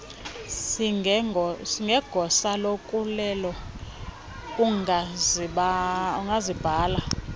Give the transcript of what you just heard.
singegosa loluleko ungasibhala